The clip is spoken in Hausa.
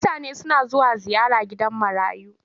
Mutane suna zuwa ziyara gidan marayu.